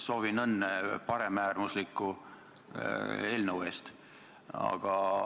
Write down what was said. Soovin õnne paremäärmusliku eelnõu puhul!